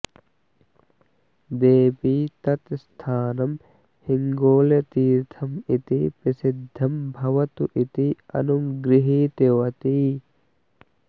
देवी तत् स्थानं हिङ्गोलतीर्थम् इति प्रसिद्धं भवतु इति अनुगृहीतवती